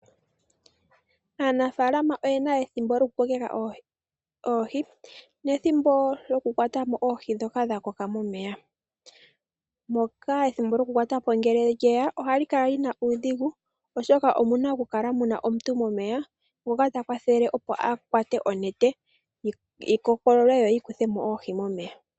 Aanafalama oyena ethimbo lyoku kokeka oohi nethimbo lyoku kwata mo oohi ndhoka dha koka momeya. Moka ethimbo lyo ku kwatamo ngele lyeya ohali kala lyina uudhigu ,oshoka omuna oku kala muna omuntu momeya ngoka ta kwathele opo a kwate onete yi kokolole yo yi kuthemo oohi momeya.